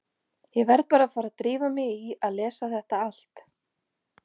Ég verð bara að fara að drífa mig í að lesa þetta allt.